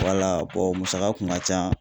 Wala bɔn musaka kun ka ca